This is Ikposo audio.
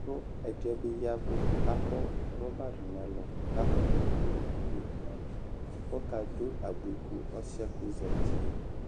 kʋ ɛdɩ yɛ bɩ ya ɛvʋ kʋ akɔ rɔba dʋ nʋ ɛlʋ kʋ akɔ ɛkʋ dʋ nʋ iyo kʋ ɔkadʋ abui ka ɔsɩ yɛ kʋ ɔzati yɛ